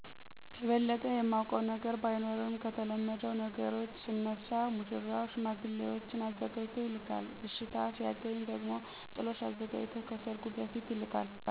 የበለጠ የማውቀው ነገር ባይኖርም ከተለመደው ነገሮች ስነሳ ሙሽራው ሽማግሌዎች አዘጋጅቶ ይልካል አሽታን ሲያገኝ ደሞ ጥሎሽ አዘጋጅቶ ከሰርጉ በፊት ይልካል።